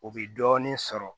O bɛ dɔɔnin sɔrɔ